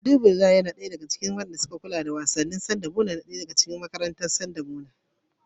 Najibullahi yana ɗaya daga cikin ɗalibai masu kula da wasanni sanda muna makarantar sakandare.